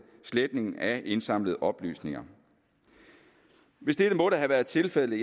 sletningen af indsamlet oplysninger hvis dette måtte have været tilfældet